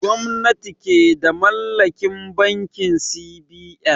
Gwamnati ke da mallakin bankin C.B.N